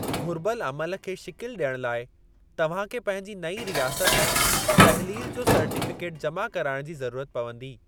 घुरिबल अमलु खे शिकिलि ॾियणु लाइ तव्हां खे पंहिंजी नईं रियासत में तहलील जो सर्टीफ़िकेट जमा कराइणु जी ज़रूरत पवंदी।